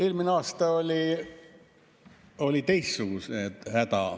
Eelmisel aastal oli teistsugune häda.